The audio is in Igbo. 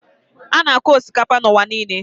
A na-akụ osikapa n'ụwa niile.